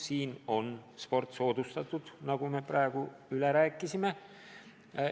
Samas on sport soodustatud, nagu me praegu rääkisime.